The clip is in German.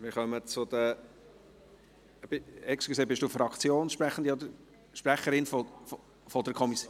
Wir kommen zu den … Entschuldigen Sie, sind Sie Fraktionssprechende oder Kommissionssprecherin?